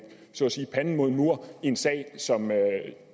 panden mod en mur i en sag som